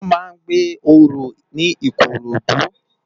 Wòn má n gbé óró ni Ikorodu